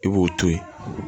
I b'o to yen